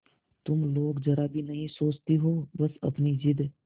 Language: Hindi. तुम लोग जरा भी नहीं सोचती हो बस अपनी जिद